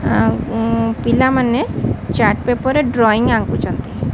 ପିଲାମାନେ chart paper ରେ drawing ଆଙ୍କୁଛନ୍ତି।